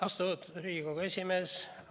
Austatud Riigikogu esimees!